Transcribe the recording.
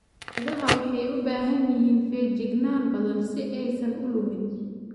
Idaha waxay u baahan yihiin feejignaan badan si aysan u lumin.